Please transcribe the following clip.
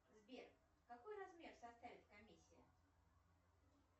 сбер какой размер составит комиссия